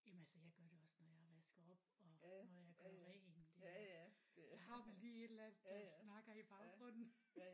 Jamen altså jeg gør det også når jeg vasker op og når jeg gør rent ik så har man lige et eller andet der snakker i baggrunden